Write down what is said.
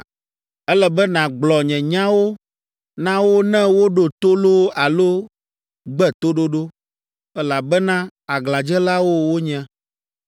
Ele be nàgblɔ nye nyawo na wo ne woɖo to loo alo gbe toɖoɖo, elabena aglãdzelawo wonye.